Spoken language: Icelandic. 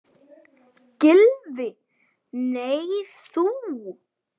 Gylfi: Nei en þú?